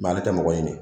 ale tɛ mɔgɔ ɲini